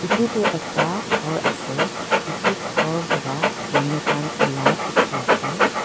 etu toh ekta khor ase etu khor para manukhan ulaa dikhi ase.